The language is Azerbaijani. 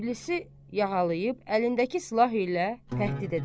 İblisi yaxalayıb əlindəki silah ilə təhdid edər.